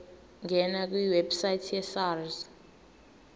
ngena kwiwebsite yesars